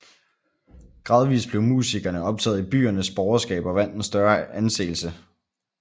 Gradvist blev musikerne optaget i byernes borgerskab og vandt en større anseelse